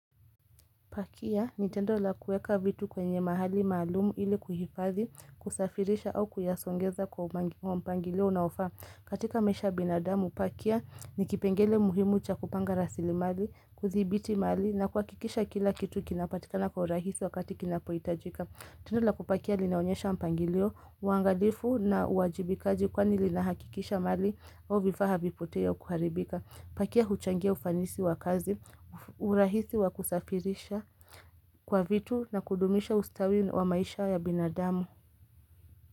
Pakia ni tendo la kuweka vitu kwenye mahali maalumu ili kuhifadhi, kusafirisha au kuyasongeza kwa mpangilio unaofaa. Katika maisha ya binadamu, pakia ni kipengele muhimu cha kupanga rasili mali, kuthibiti mali na kuhakikisha kila kitu kinapatikana kwa rahisi wakati kinapoitajika. Tendo la kupakia linaonyesha mpangilio, uangalifu na uwajibikaji kwani linahakikisha mali au vifaa havipotei au kuharibika. Pakia huchangia ufanisi wa kazi, urahisi wa kusafirisha kwa vitu na kudumisha ustawi wa maisha ya binadamu.